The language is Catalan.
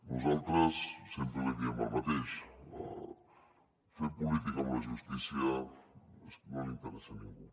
nosaltres sempre li diem el mateix fer política amb la justícia no li interessa a ningú